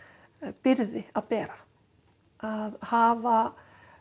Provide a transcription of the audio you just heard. byrgði að bera að hafa